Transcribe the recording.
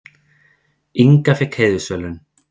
Inga fékk heiðursverðlaun